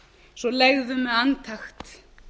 svo leggðu með andakt